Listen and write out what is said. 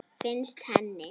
Finnst henni.